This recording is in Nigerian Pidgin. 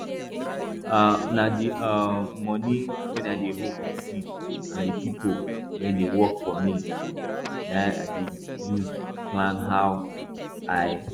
um na di um money wey i dey hold for seed and di pipu wey dey work for me na im i dey use plan how i